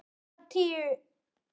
Þú ert að ógna mér.